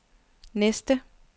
næste